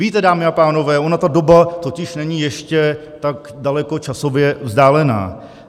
Víte, dámy a pánové, ona ta doba totiž není ještě tak daleko časově vzdálená.